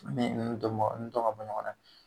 Ni ninnudɔnbaga dɔn ka bɔ ɲɔgɔn na